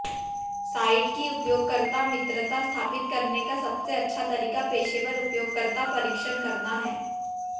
site की उपयोगकर्ता मित्रता स्थापित करने का सबसे अच्छा तरीका पेशेवर उपयोगकर्ता परीक्षण करना है